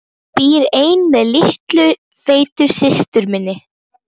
Hún býr ein með litlu feitu systur minni.